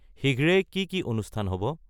শীঘ্রেই কি কি অনুষ্ঠান হ'ব